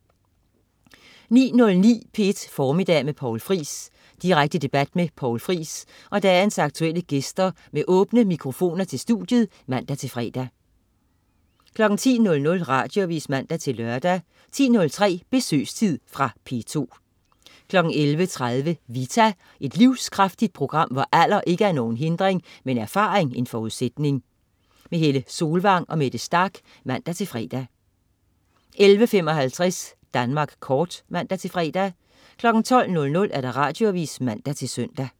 09.09 P1 Formiddag med Poul Friis. Direkte debat med Poul Friis og dagens aktuelle gæster med åbne telefoner til studiet (man-fre) 10.00 Radioavis (man-lør) 10.03 Besøgstid. Fra P2 11.30 Vita. Et livskraftigt program, hvor alder ikke er nogen hindring, men erfaring en forudsætning. Helle Solvang og Mette Starch (man-fre) 11.55 Danmark Kort (man-fre) 12.00 Radioavis (man-søn)